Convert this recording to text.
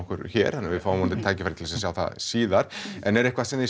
hér og við fáum vonandi tækifæri til að sjá það síðar en er eitthvað sem þið